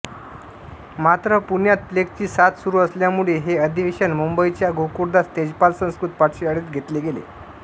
मात्र पुण्यात प्लेगची साथ सुरू असल्यामुळे हे अधिवेशन मुंबईच्या गोकुळदास तेजपाल संस्कृत पाठशाळेत घेतले गेले